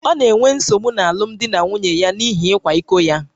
Ọ na-enwe nsogbu n’alụmdi na nwunye ya n’ihi ịkwa iko ya